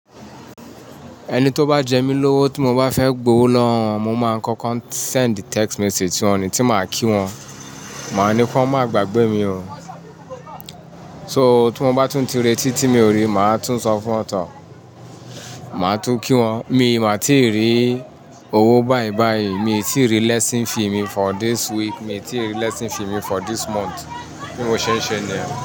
Ẹni tó bá jẹ mí lówó tí mo bá fẹ́ gbowó lọ́wó won, mo máa ń kọ́kọ́ send text message sí wọn ni tí màá kí wọn. Màá ní kó má gbagbe mi o. So tí mo bá tún ti retí tí mi ò rí, màá tún sọ fún wọn tán. Màá tún kí wọn. Mi màá tí rí owó bayi bayi, miij tíì rí lesson fee mi for this week, mi tí ì rí lesson fee mi for this month. Bí mo ṣẹ́ ń ṣẹ́ ni yen.